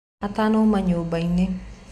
Atanauma nyũmbainĩ